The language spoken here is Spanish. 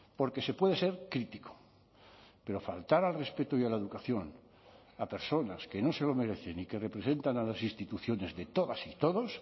porque se puede ser crítico pero faltar al respeto y a la educación a personas que no se lo merecen y que representan a las instituciones de todas y todos